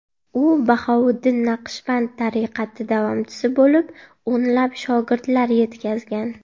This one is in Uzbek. U Bahouddin Naqshband tariqati davomchisi bo‘lib, o‘nlab shogirdlar yetkazgan.